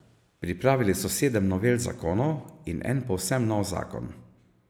Pripravili so sedem novel zakonov in en povsem nov zakon.